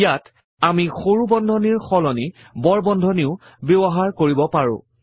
ইয়াত আমি সৰু বন্ধনীৰ সলনি বৰ বন্ধনীও ব্যৱহাৰ কৰিব পাৰো